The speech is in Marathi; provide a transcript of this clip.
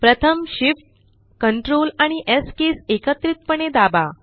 प्रथम shiftctrls कीज एकत्रितपणे दाबा